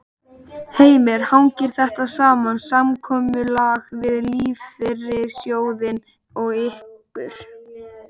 Heimir: Hangir þetta saman, samkomulag við lífeyrissjóðina og ykkur?